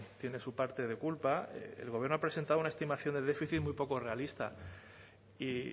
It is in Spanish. tiene su parte de culpa el gobierno ha presentado una estimación de déficit muy poco realista y